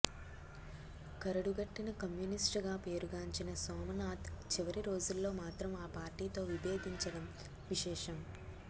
కరడుగట్టిన communist గా పేరుగాంచిన సోమనాథ్ చివరి రోజుల్లో మాత్రం ఆ పార్టీతో విభేదించడం విశేషం